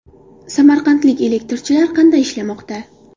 Samarqandlik elektrchilar qanday ishlamoqda?.